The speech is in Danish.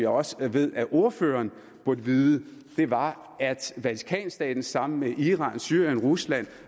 også ved at ordføreren burde vide var at vatikanstaten sammen med iran syrien rusland